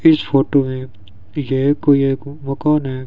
इस फोटो है ये कोई एक मकान है।